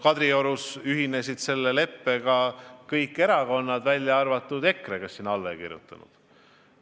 Kadriorus ühinesid selle leppega kõik erakonnad, välja arvatud EKRE, kes sinna alla ei kirjutanud.